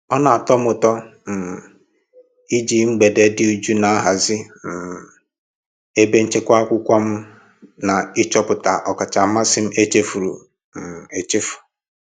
Ọ na-atọ m ụtọ um iji mgbede dị jụụ na-ahazi um ebe nchekwa akwụkwọ m na ịchọpụta ọkacha mmasị echefuru um echefu.